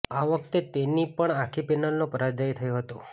આ વખતે તેની પણ આખી પેનલનો પરાજય થયો હતો